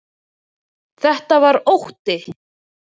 Þetta var ótti.